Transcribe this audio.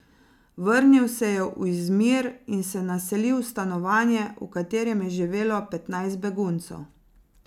Vrnil se je v Izmir in se naselil v stanovanje, v katerem je živelo petnajst beguncev.